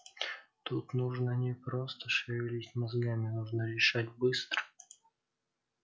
тут нужно не просто шевелить мозгами нужно решать быстро